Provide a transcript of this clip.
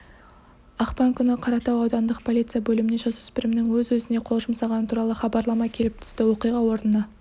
ақпан күні қаратау аудандық полиция бөліміне жасөспірімнің өз-өзіне қол жұмсағаны туралы хабарлама келіп түсті оқиға орнына